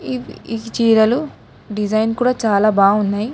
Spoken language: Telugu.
ఇవ్ ఈ చీరలు డిజైన్ కూడా చాలా బాగున్నాయి.